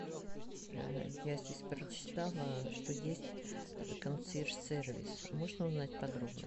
я здесь прочитала что есть консъерж сервис можно узнать подробно